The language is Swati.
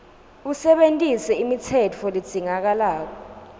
usebentise imitsetfo ledzingekako